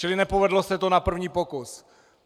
Čili nepovedlo se to na první pokus.